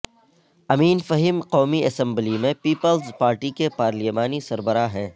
امین فہیم قومی اسمبلی میں پیپلز پارٹی کے پارلیمانی سربراہ ہیں